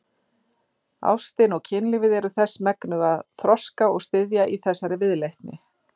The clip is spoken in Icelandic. Ástin og kynlífið eru þess megnug að þroska og styðja í þessari viðleitni.